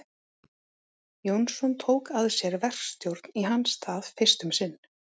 Jónsson tók að sér verkstjórn í hans stað fyrst um sinn.